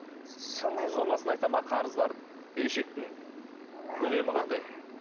сондай сомасын айта ма қарыздарының берешектің көлемі қандай